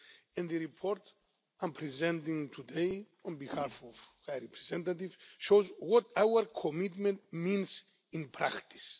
And the report I am presenting today on behalf of the High Representative shows what our commitment means in practice.